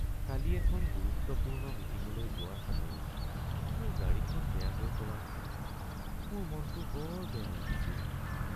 কালি এখন গুৰুত্বপূৰ্ণ মিটিংলৈ যোৱাৰ সময়ত মোৰ গাড়ীখন বেয়া হৈ পৰাত মোৰ মনটো বৰ বেয়া লাগিছিল।